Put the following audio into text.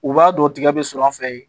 U b'a dɔn tigɛ bɛ sɔrɔ an fɛ yen